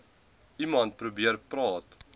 iemand probeer praat